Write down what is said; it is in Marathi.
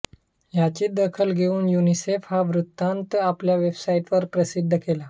याची दखल घेऊन युनिसेफने हा वृत्तान्त आपल्या वेबसाईटवर प्रसिद्ध केला